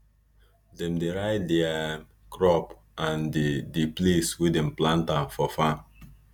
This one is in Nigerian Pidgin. dem dey write di um crop and di di place wey dem plant am for farm